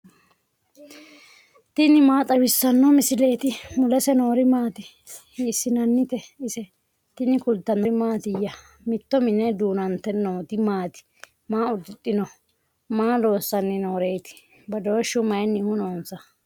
tini maa xawissanno misileeti ? mulese noori maati ? hiissinannite ise ? tini kultannori mattiya? Mitto minne duunante nootti maati? Maa udidhinno? Maa loosanni nooreetti? Badooshshu mayiinnihu noonnsa?